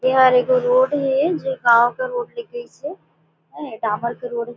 एहर एगो रोड हे जे गांव के रोड ले गईसे अय डामर के रोड --